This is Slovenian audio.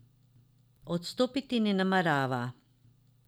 Odstopiti ne namerava.